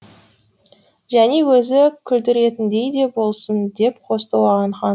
және өзі күлдіретіндей де болсын деп қосты оған хан